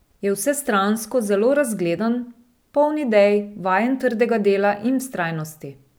Je vsestransko zelo razgledan, poln idej, vajen trdega dela in vztrajnosti.